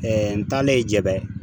n tanlen ye jɛbɛ .